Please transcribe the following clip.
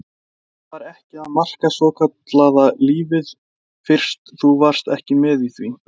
Að það var ekki að marka svokallaða lífið fyrst þú varst ekki með í því.